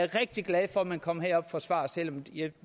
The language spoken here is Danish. rigtig glad for at man kommer herop og forsvarer selv om jeg